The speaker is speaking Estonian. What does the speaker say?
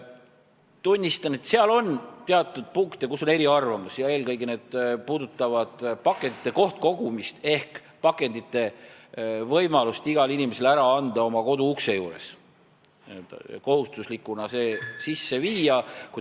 Tunnistan, et seal on teatud punkte, kus on eriarvamusi, eelkõige puudutavad need pakendite kohtkogumist ehk selle kohustuse sisseviimist, et igal inimesel oleks võimalus pakendid ära anda oma koduukse juures.